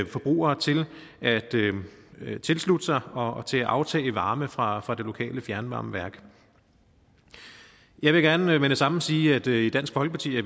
forbrugere til at tilslutte sig og til at aftage varme fra fra det lokale fjernvarmeværk jeg vil gerne med det samme sige at vi i dansk folkeparti